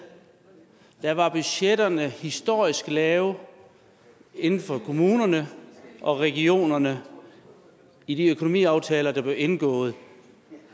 var budgetterne historisk lave inden for kommunerne og regionerne i de økonomiaftaler der blev indgået